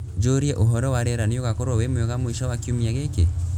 njūrie ūhoro wa riera nīugakoruo wī mwega mwīsho wa kiumia gīkī